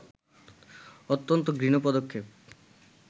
অত্যন্ত ঘৃণ্য পদক্ষেপ